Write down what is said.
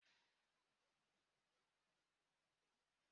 Mmiri na-agba n'ụlọ mposi ya